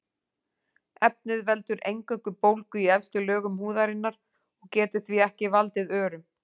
Efnið veldur eingöngu bólgu í efstu lögum húðarinnar og getur því ekki valdið örum.